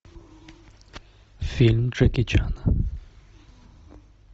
фильм джеки чана